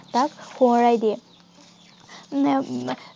তাক সোঁৱৰাই দিয়ে। উম